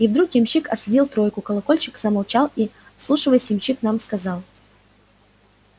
и вдруг ямщик осадил тройку колокольчик замолчал и вслушиваясь ямщик нам сказал